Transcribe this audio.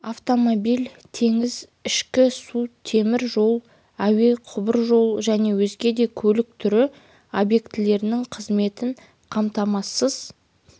автомобиль теңіз ішкі су темір жол әуе құбыржол және өзге де көлік түрі объектілерінің қызметін қамтамасыз